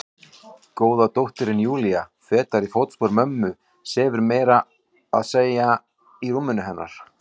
Góða dóttirin Júlía, fetar í fótspor mömmu, sefur meira að segja í rúminu hennar.